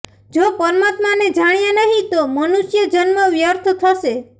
જો પરમાત્માને જાણ્યા નહિ તો મનુષ્ય જન્મ વ્યર્થ જશે